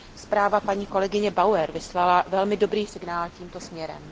Zpráva paní kolegyně Bauerové vyslala velmi dobrý signál tímto směrem.